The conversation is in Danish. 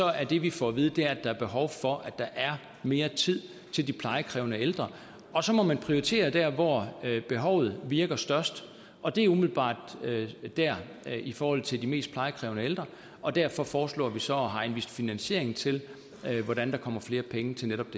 er det vi får at vide at der er behov for at der er mere tid til de plejekrævende ældre og så må man prioritere der hvor behovet virker størst og det er umiddelbart i forhold til de mest plejekrævende ældre og derfor foreslår vi så og har anvist finansiering til hvordan der kommer flere penge til netop